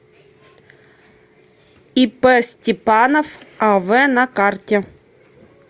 ип степанов ав на карте